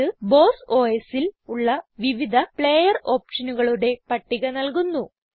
ഇത് ബോസ് Osൽ ഉള്ള വിവിധ പ്ലേയർ ഓപ്ഷനുകളുടെ പട്ടിക നല്കുന്നു